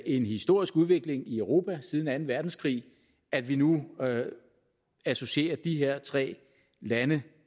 en historisk udvikling i europa siden anden verdenskrig at vi nu associerer de her tre lande